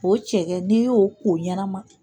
O cɛkɛ n'i y'o ko ɲɛna